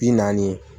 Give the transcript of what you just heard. Bi naani